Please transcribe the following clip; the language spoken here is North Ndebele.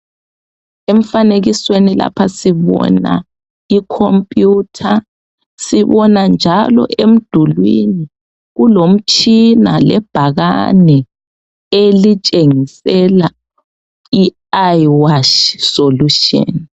Emfanekisweni lapha sibona ikhompiyutha, sibona njalo emdulwini kulomtshina lebhakane elitshengisela ieyewash solution.